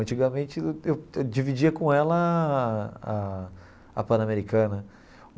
Antigamente, eu eu dividia com ela a a a Panamericana.